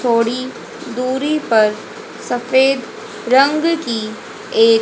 थोड़ी दूरी पर सफेद रंग की ये--